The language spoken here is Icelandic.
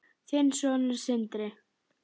Þinn sonur, Sindri.